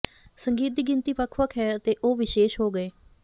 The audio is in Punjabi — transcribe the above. ਸੰਗੀਤ ਦੀ ਗਿਣਤੀ ਵੱਖ ਵੱਖ ਹੈ ਅਤੇ ਉਹ ਵਿਸ਼ੇਸ਼ ਹੋ ਗਏ